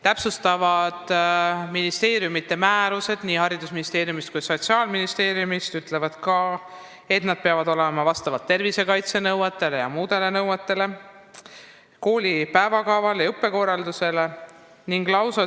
Täpsustavad ministeeriumide määrused, nii Haridus- ja Teadusministeeriumi kui ka Sotsiaalministeeriumi määrused ütlevad, et ruumid peavad vastama tervisekaitse ja muudele nõuetele, tagatud peab olema kooli päevakava täitmine ja ettenähtud õppekorralduse järgimine.